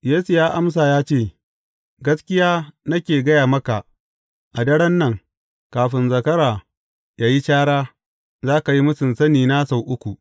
Yesu ya amsa ya ce, Gaskiya nake gaya maka, a daren nan, kafin zakara yă yi cara, za ka yi mūsun sanina sau uku.